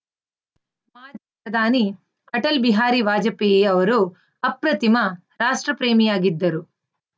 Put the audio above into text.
ಪ್ರಧಾನಿ ಅಟಲ್‌ ಬಿಹಾರಿ ವಾಜಪೇಯ ಅವರು ಅಪ್ರತಿಮ ರಾಷ್ಟ್ರ ಪ್ರೇಮಿಯಾಗಿದ್ದರು